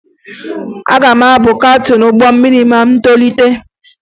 Aga m abụ kaptịn ụgbọ mmiri ma m tolite